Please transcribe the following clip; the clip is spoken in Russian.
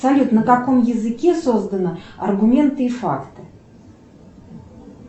салют на каком языке создана аргументы и факты